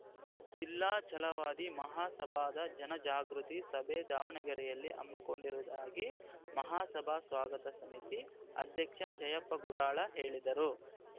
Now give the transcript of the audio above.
ಜಿಲ್ಲಾ ಛಲವಾದಿ ಮಹಾಸಭಾದ ಜನಜಾಗೃತಿ ಸಭೆ ದಾವಣಗೆರೆಯಲ್ಲಿ ಹಮ್ಮಿಕೊಂಡಿರುವುದಾಗಿ ಮಹಾಸಭಾ ಸ್ವಾಗತ ಸಮಿತಿ ಅಧ್ಯಕ್ಷ ಜಯಪ್ಪ ಗುಡಾಳ ಹೇಳಿದರು